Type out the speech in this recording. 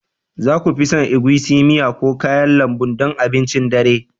za ku fi son egusi miya ko kayan lambu don abincin dare